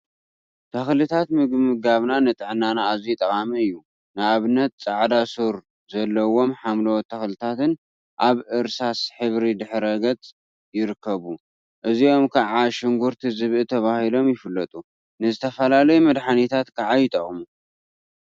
ተክልታት ምምጋብ ንጥዕናና አዝዩ ጠቃሚ እዩ፡፡ ንአብነት ፃዕዳ ሱር ዘለዎም ሓምለዎት ተክሊታት አብ እርሳስ ሕብሪ ድሕረ ገፅ ይርከቡ፡፡ እዚኦም ከዓ ሽጉርቲ ዝብኢ ተባሂሎም ይፍለጡ፡፡ ንዝተፈላለዩ መድሓኒታት ከዓ ይጠቅሙ፡፡